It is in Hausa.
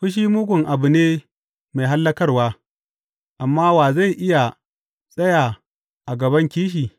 Fushi mugun abu ne mai hallakarwa, amma wa zai iya tsaya a gaban kishi?